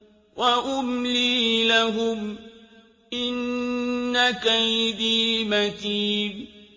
وَأُمْلِي لَهُمْ ۚ إِنَّ كَيْدِي مَتِينٌ